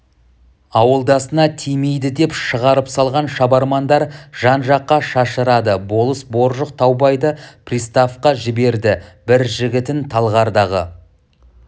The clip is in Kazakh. ауылдасына тимейді деп шығарып салған шабармандар жан-жаққа шашырады болыс боржық таубайды приставқа жіберді бір жігітін талғардағы